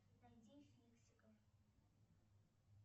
найди фиксиков